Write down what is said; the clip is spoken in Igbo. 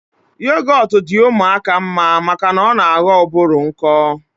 Yogọt di ụmụaka mma maka na ọ na aghọ ụbụrụ nkọ